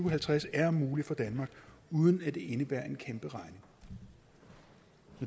og halvtreds er mulig for danmark uden at det indebærer en kæmperegning